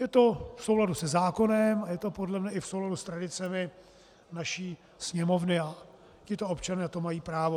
Je to v souladu se zákonem a je to podle mne i v souladu s tradicemi naší Sněmovny a tito občané na to mají právo.